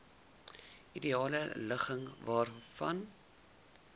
ideale ligging vanwaar